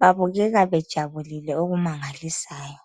Babukeka bejabulile okumangalisayo.